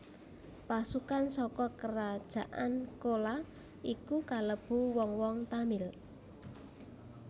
Pasukan saka kerajaan Cola iku kalebu wong wong Tamil